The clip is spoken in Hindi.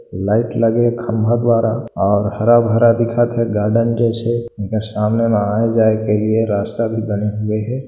लाइट लगा हैं खंभा द्वारा और हरा हारा दिखत हे गार्डन जैसा सामाने रास्ता बने हुए हे।